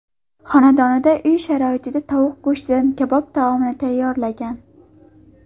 xonadonida uy sharoitida tovuq go‘shtidan kabob taomini tayyorlagan.